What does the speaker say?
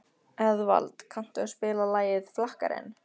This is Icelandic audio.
Eðvald, kanntu að spila lagið „Flakkarinn“?